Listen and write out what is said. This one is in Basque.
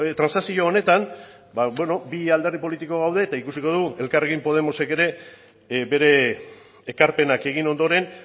transakzio honetan ba beno bi alderdi politiko gaude eta ikusiko dugu elkarrekin podemosek ere bere ekarpenak egin ondoren